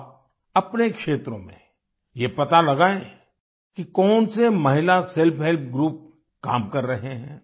आप अपने क्षेत्र में ये पता लगायें कि कौन से महिला सेल्फ हेल्प ग्रुप काम कर रहे हैं